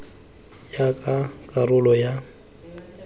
ya ka karolo ya molawana